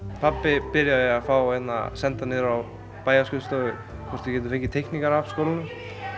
pabbi byrjaði að senda niður á bæjarskrifstofu hvort við gætum fengið teikningar af skólanum